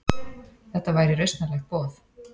Þetta væri rausnarlegt boð.